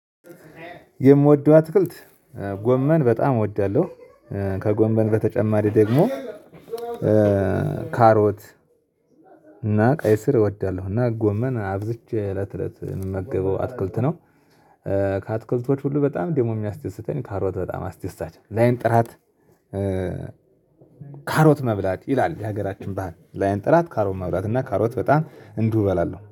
የምወደው አትክልት ጎመን በጣም እወዳለሁ። ከጎመን በተጨማሪ ደግሞ ካሮት እና ቀይ ስር እወዳለሁ እና ጎመን አብዝቼ እለት እለት ምመገበው አትክልት ነው። ከአትክልቶች ሁሉ በጣም ደግሞ የሚያስደስተኝ ካሮት በጣም አስደሳች ነው። ላይን ጥራት ካሮት መብላት ይላል የሀገራችን ባህል ላይን ጥራት ካሮት መብላት እና ካሮት በጣም እንዲሁ እበላለሁ